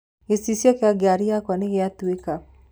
gĩcicio kĩa ngari yakwa nĩgĩatũka.